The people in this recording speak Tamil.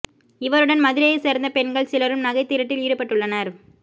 இவருடன் மதுரையை சேர்ந்த பெண்கள் சிலரும் நகை திருட்டில் ஈடுபட்டுள்ளனர்